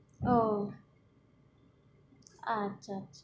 আহ আচ্ছা